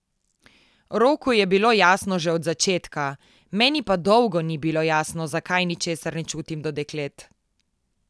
Roku je bilo jasno že od začetka, meni pa dolgo ni bilo jasno, zakaj ničesar ne čutim do deklet.